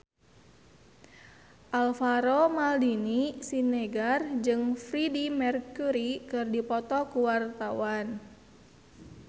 Alvaro Maldini Siregar jeung Freedie Mercury keur dipoto ku wartawan